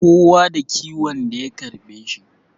Kowa da kiwon da ya karbe shi